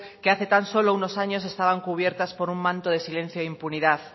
que hace tan solo unos años estaban cubiertas por un manto de silencio e impunidad